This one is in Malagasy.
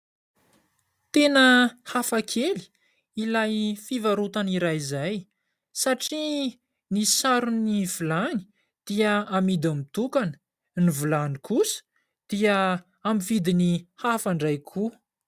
Tena hafa kely ilay fivarotana iray izay satria ny saron'ny vilany dia amidy mitokana . Ny vilany kosa dia amin'ny vidiny hafa indray koa.